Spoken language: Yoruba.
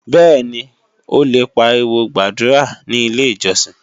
Bẹ́ẹ̀ni, o lè pariwo gbàdúrà ní Ilé-ìjọsìn